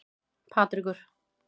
Patrekur